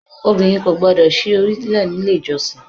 Obìnrin kò gbọ́dọ̀ sí orí lè ní ilé ìjọsìn.